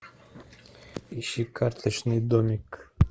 ищи карточный домик